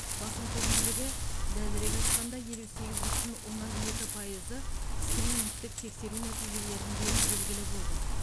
басым көпшілігі дәлірек айтқанда елу сегіз бүтін оннан екі пайызы скринингтік тексеру нәтижелерінде белгілі болды